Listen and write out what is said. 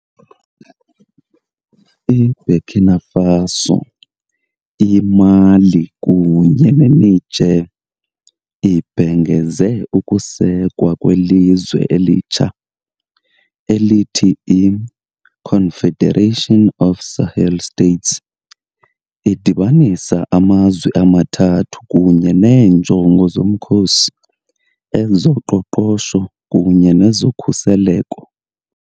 IBurkina Faso, iMali kunye neNiger ibhengeze ukusekwa kwelizwe elitsha, elithi " I-Confederation of Sahel States ", idibanisa amazwe amathathu kunye neenjongo zomkhosi, ezoqoqosho kunye nezokhuseleko.